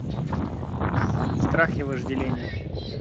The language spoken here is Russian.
страх и вожделение